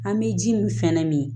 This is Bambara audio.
An bɛ ji min sɛnɛ nin